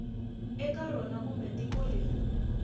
eka rona kumbe tiko leri